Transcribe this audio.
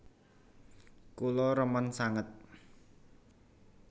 Kula remen sanget